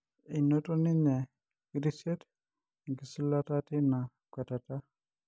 Einoto ninye Kirisiet Enkisulata teina kwetata.